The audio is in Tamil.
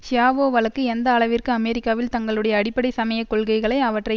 ஷியாவோ வழக்கு எந்த அளவிற்கு அமெரிக்காவில் தங்களுடைய அடிப்படை சமய கொள்கைகளை அவற்றை